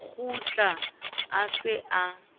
o kgutla a se a